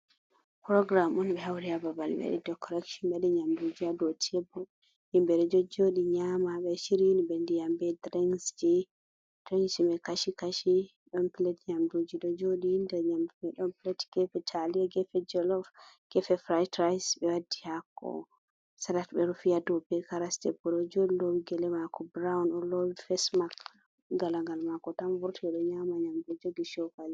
Puroogiram on ɓe hawri haa babal ɓe waɗi dekoreeson ɓe waɗi nyamnduuji haa dow teebul himɓeeji ɗon jojjooɗi nyaama, ɓe shiryini ɓe ndiyam bee dirinkji, dirinkji may kashi-kashi ɗon piletji nyamduuji ɗo jooɗi, nder nyamndu man pilet geefe taaliya, geefe jolof, geefe firayt-rice, ɓe waddi haako salat ɓe rufi haa dow bee karas, debbo ɗo jooɗi loowi gele maako brawn o loowi fesmak galangal maako tan vurti o ɗo nyaama nyamndu jogi cookali.